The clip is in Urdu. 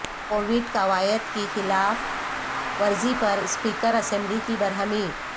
کووڈ قواعد کی خلاف ورزی پر اسپیکر اسمبلی کی برہمی